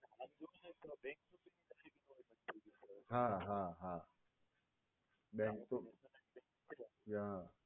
હા હા હા bank એ હા